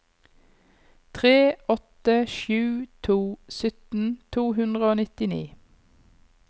tre åtte sju to sytten to hundre og nittini